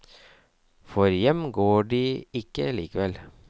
For hjem går de ikke likevel.